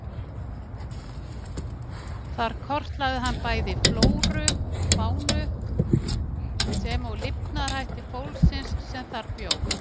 Þar kortlagði hann bæði flóru og fánu, sem og lifnaðarhætti fólksins sem þar bjó.